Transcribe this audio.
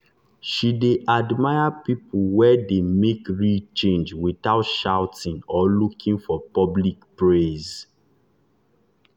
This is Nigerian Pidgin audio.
she dey admire people wey dey make real change without shouting or looking for public praise.